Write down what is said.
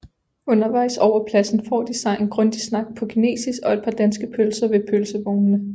Undervejs over pladsen får de sig en grundig snak på kinesisk og et par danske pølser ved pølsevognene